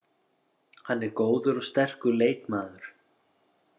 Hann er góður og sterkur leikmaður.